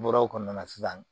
N bɔr'o kɔnɔna na sisan